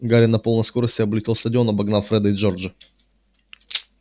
гарри на полной скорости облетел стадион обогнав фреда и джорджа